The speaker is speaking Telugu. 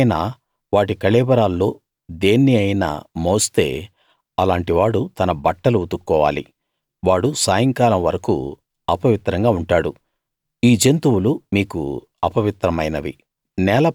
ఎవరైనా వాటి కళేబరాల్లో దేన్ని అయినా మోస్తే అలాంటి వాడు తన బట్టలు ఉతుక్కోవాలి వాడు సాయంకాలం వరకూ అపవిత్రంగా ఉంటాడు ఈ జంతువులు మీకు అపవిత్రమైనవి